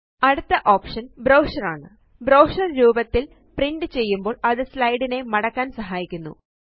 അടുത്ത option brochure ആണ് brochure രൂപത്തിൽ പ്രിന്റ് ചെയ്യുമ്പോൾ അത് സ്ലൈഡ്സ് നെ മടക്കാൻ സഹായിക്കുന്നു